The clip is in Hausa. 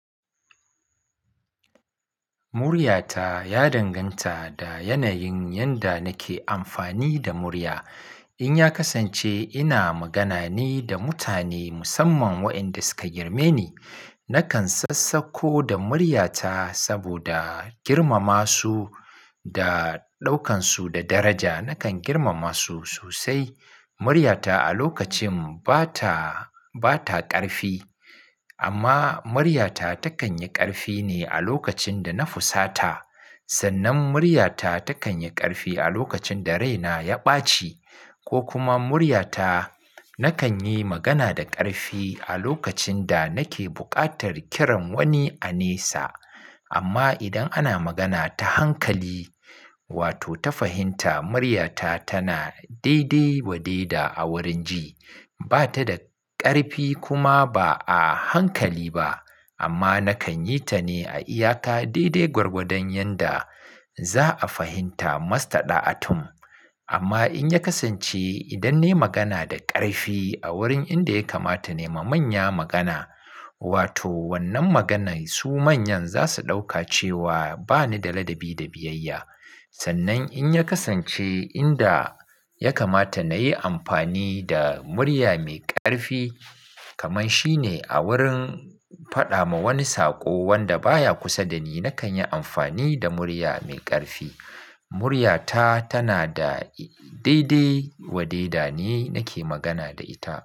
Muryata ya danganta da yanayin yanda nake amfani da murya. In ya kasance ina magana ne da mutane musamman waenda suka girmeni, nakan sassako da muryata saboda girmama su da ɗaukansu da daraja. Nakan girmama su sosai. Muryata a lokacin bata, bata ƙarfi amma muryata takan yi ƙarfi ne a lokacin da na fusata. Sannan muryata takan yi ƙarfi a lokacin da raina ya ɓaci ko kuma muryata nakan yi magana da ƙarfi a lokacin da nake buƙatar kiran wani a nesa. Amma idan ana magana ta hankali wato ta fahimta, muryata tana daidai wade da a wurin ji. Bata da ƙarfi kuma ba a hankali ba amma nakan yi ta ne a iyaka daidai gwargwadon yanda za'a fahimta. Mastada atum. Amma in ya kasance idan nayi magana da ƙarfi a wurin inda ya kamata na yi ma manya magana wato wannan maganan su manyan zasu ɗauka cewa bani da ladabi da biyayya. Sannan in ya kasance inda ya kamata na yi amfani da murya mai ƙarfi kamar shine a wurin, faɗa ma wani saƙo wanda baya kusa da ni, nakan yi amfani da murya mai ƙarfi. Amma muryata tana da dai-dai waddai da ni nake magana da ita.